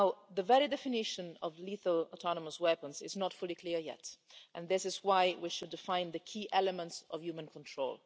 The very definition of lethal autonomous weapons is not fully clear yet, and this is why we should define the key element of human control.